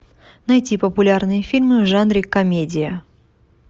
найти популярные фильмы в жанре комедия